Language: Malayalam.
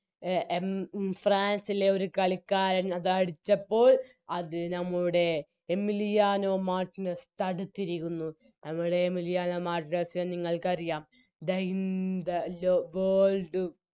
എ എം മ് ഫ്രാൻസിലെ ഒരു കളിക്കാരൻ അതടിച്ചപ്പോൾ അത് ഞമ്മളുടെ എമിലിയാനോ മാർട്ടിനെസ്സ് തടുത്തിരിക്കുന്നു ഞങ്ങളുടെ എമിലിയാനോ മാർട്ടിനസ്സിനെ നിങ്ങൾക്കറിയാം The in the low World